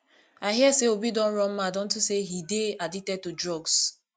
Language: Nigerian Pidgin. i hear say obi don run mad unto say he dey addicted to drugs